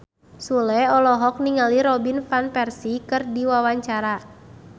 Sule olohok ningali Robin Van Persie keur diwawancara